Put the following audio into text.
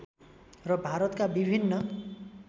र भारतका विभिन्न